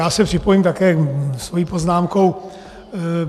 Já se připojím také svou poznámkou.